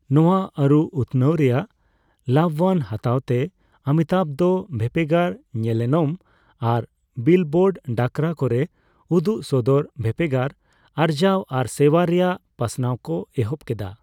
ᱱᱚᱣᱟ ᱟᱹᱨᱩ ᱩᱛᱷᱱᱟᱹᱣ ᱨᱮᱭᱟᱜ ᱞᱟᱵᱷᱵᱟᱱ ᱦᱟᱛᱟᱣ ᱛᱮ, ᱚᱢᱤᱛᱟᱵᱷ ᱫᱚ ᱵᱷᱮᱯᱮᱜᱟᱨ ᱧᱮᱱᱮᱞᱚᱢ ᱟᱨ ᱵᱤᱞᱵᱚᱨᱰ ᱰᱟᱠᱨᱟ ᱠᱚᱨᱮ ᱩᱫᱩᱜ ᱥᱚᱫᱚᱨ ᱵᱷᱮᱯᱮᱜᱟᱨ ᱟᱨᱡᱟᱣ ᱟᱨ ᱥᱮᱣᱟ ᱨᱮᱭᱟᱜ ᱯᱟᱥᱱᱟᱣ ᱠᱚ ᱮᱦᱚᱵ ᱠᱮᱫᱟ᱾